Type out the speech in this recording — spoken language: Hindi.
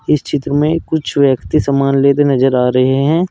इस चित्र में कुछ व्यक्ति समान लेते नजर आ रहे हैं।